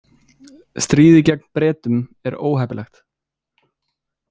Stríðið gegn Bretum er óheppilegt.